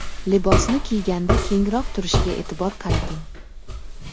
Libosni kiyganda kengroq turishiga e’tibor qarating.